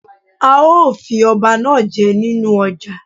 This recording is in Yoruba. A ó fi ọba náá je nínú ọjà